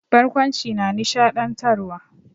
Barkwanci na nishaɗantarwa.